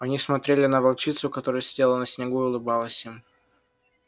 они смотрели на волчицу которая сидела на снегу и улыбалась им